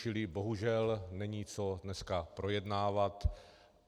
Čili bohužel není co dneska projednávat.